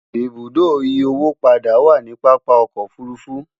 ibùdó ìyí owó padà wà nì pápá ọkọ òfurufú